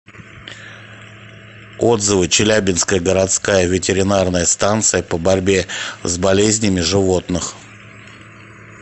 отзывы челябинская городская ветеринарная станция по борьбе с болезнями животных